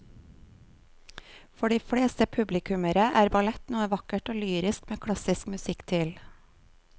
For de fleste publikummere er ballett noe vakkert og lyrisk med klassisk musikk til.